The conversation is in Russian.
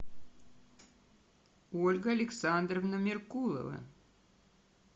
ольга александровна меркулова